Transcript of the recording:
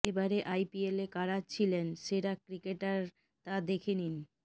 এবারের আইপিএলে কারা ছিলেন সেরা ক্রিকেটার তা দেখে নিন